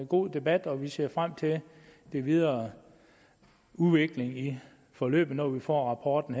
god debat og vi ser frem til den videre udvikling i forløbet når vi får rapporten